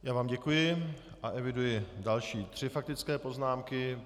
Já vám děkuji a eviduji další tři faktické poznámky.